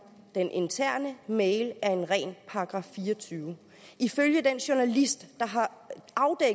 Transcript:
den interne mail er en ren § fireogtyvende ifølge den journalist